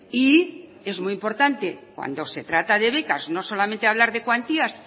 y es muy importante cuando se trata de becas no solamente hablar de cuantías